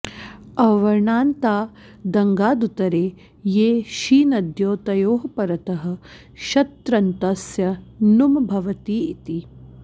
अवर्णान्तादङ्गादुत्तरे ये शीनद्यौ तयोः परतः शत्रन्तस्य नुम् भवति इति